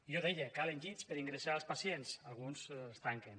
jo deia calen llits per a ingressar els pacients alguns els tanquen